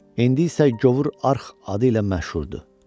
İndi isə Govur arx adı ilə məşhurdur.